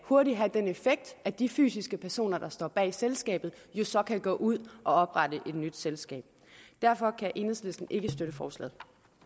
hurtigt have den effekt at de fysiske personer der står bag selskabet kan gå ud og oprette et nyt selskab derfor kan enhedslisten ikke støtte forslaget